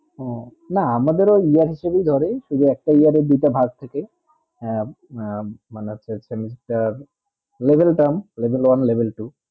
উহ না আমাদের তো year এ হিসাবে ধরে শুধু একটা year এ দুটা ভাগ থাকে আহ আহ মানে হচ্ছে semester level town level one level two